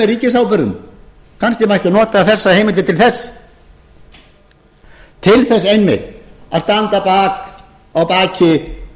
ríkisábyrgðum kannski mætti nota þessa heimild til þess til þess einmitt að standa að baki